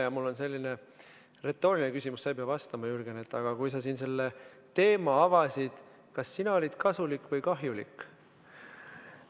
Ja mul on selline retooriline küsimus – sa ei pea vastama, Jürgen –, et kui sa siin selle teema avasid, kas sina olid kasulik või kahjulik.